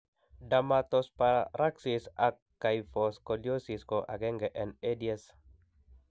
Dermatosparaxis ak kyphoscoliosis ko agenge en EDS